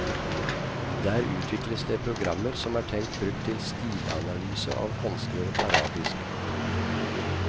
Der utvikles det programmer som er tenkt brukt til stilanalyse av håndskrevet arabisk. punktum